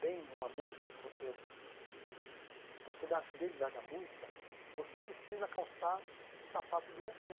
bem uma música, você para você dar fidelidade à música, você precisa calçar o sapato do autor.